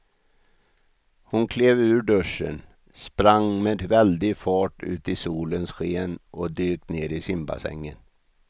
Hon klev ur duschen, sprang med väldig fart ut i solens sken och dök ner i simbassängen.